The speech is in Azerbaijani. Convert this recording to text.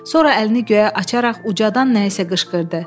Sonra əlini göyə açaraq ucadan nəyə isə qışqırdı.